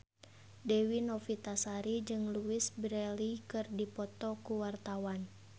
Dewi Novitasari jeung Louise Brealey keur dipoto ku wartawan